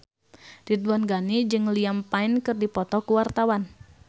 Ridwan Ghani jeung Liam Payne keur dipoto ku wartawan